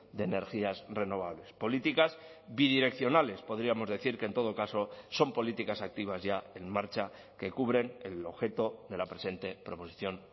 de energías renovables políticas bidireccionales podríamos decir que en todo caso son políticas activas ya en marcha que cubren el objeto de la presente proposición